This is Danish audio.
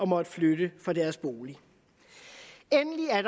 måtte flytte fra deres bolig endelig er